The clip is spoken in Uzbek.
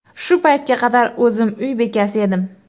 Shu paytga qadar o‘zim uy bekasi edim.